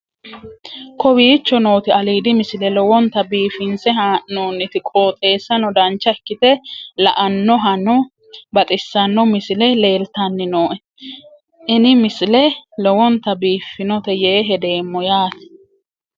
kowicho nooti aliidi misile lowonta biifinse haa'noonniti qooxeessano dancha ikkite la'annohano baxissanno misile leeltanni nooe ini misile lowonta biifffinnote yee hedeemmo yaate